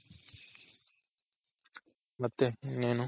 ಮತ್ತೆ ಇನ್ನೇನು